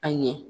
A ɲɛ